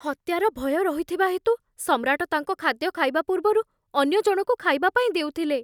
ହତ୍ୟାର ଭୟ ରହିଥିବା ହେତୁ ସମ୍ରାଟ ତାଙ୍କ ଖାଦ୍ୟ ଖାଇବା ପୂର୍ବରୁ ଅନ୍ୟ ଜଣକୁ ଖାଇବା ପାଇଁ ଦେଉଥିଲେ।